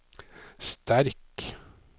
sterk